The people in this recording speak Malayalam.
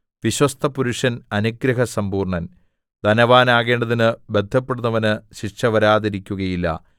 വിശ്വസ്തപുരുഷൻ അനുഗ്രഹസമ്പൂർണ്ണൻ ധനവാനാകേണ്ടതിനു ബദ്ധപ്പെടുന്നവന് ശിക്ഷ വരാതിരിക്കുകയില്ല